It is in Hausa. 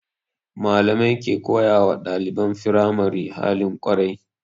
Malamai ke koyawa ɗaliban firamari halin kwarai